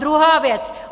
Druhá věc.